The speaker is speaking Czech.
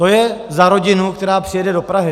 To je za rodinu, která přijede do Prahy.